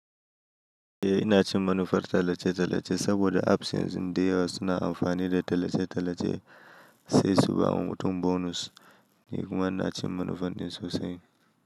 Eh ina cin manufar tallace-tallace saboda apps ɗin dayawa suna amfani da tallace-tallace sai su ba mu wani bonus. Ni kuma ina cin manufan ɗin sosai.